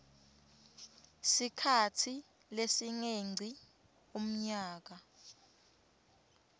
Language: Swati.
sikhatsi lesingengci umnyaka